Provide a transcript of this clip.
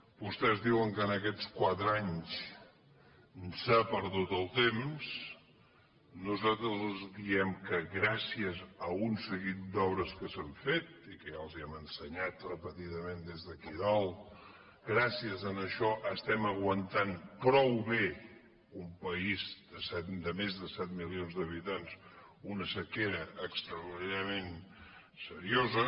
vostès diuen que aquests quatre anys s’ha perdut el temps nosaltres els diem que gràcies a un seguit d’obres que s’han fet i que ja els les hem ensenyat repetidament des d’aquí dalt gràcies a això estem aguantant prou bé un país de més de set milions d’habitants una sequera extraordinàriament seriosa